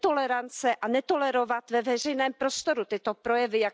Netolerance a netolerovat ve veřejném prostoru tyto projevy.